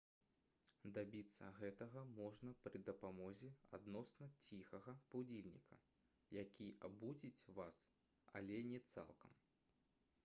дабіцца гэтага можна пры дапамозе адносна ціхага будзільніка які абудзіць вас але не цалкам